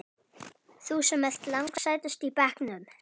Þú sem ert lang sætust í bekknum.